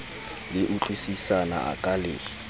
le utlwisisana a ka le